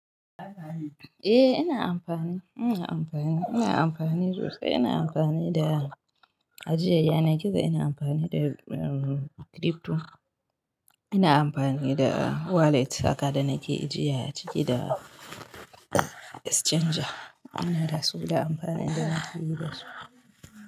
Eh ina amfani, ina amfani, ina amfani sosai. Ina amfani da ajiyar yanar gizo ina amfani da da crypto ina amfani da wallet haka da nake ajiya a ciki da exchange ina da su da amfanin da nafi yi da su.